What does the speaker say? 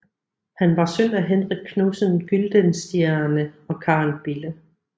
Han var søn af Henrik Knudsen Gyldenstierne og Karen Bille